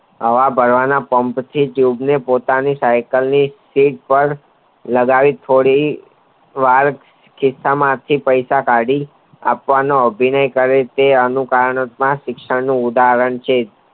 હવા ભરવાના પમ્પ થી ટ્યૂબને પોતાની સાયકલની સીટ પાર લગાવી છોડી વાર ખીસા માંથી પૈસા કાઢી આપવાનો અભિનય કરે તે એનું કારણોમાં શિક્ષણ નું ઉદાહરણ છે